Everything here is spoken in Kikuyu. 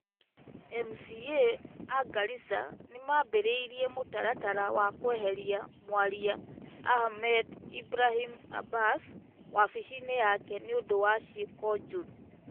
MCA a Garissa nĩ mambĩrĩirie mũtaratara wa kweheria Mwaria Ahmed Ibrahim Abass wabici-inĩ yake nĩ ũndũ wa ciĩko njũru.